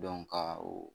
ka o